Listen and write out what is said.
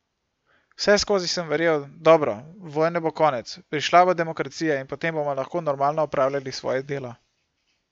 Vseskozi sem verjel, dobro, vojne bo konec, prišla bo demokracija in potem bomo lahko normalno opravljali svoje delo.